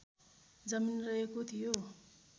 जमिन रहेको थियो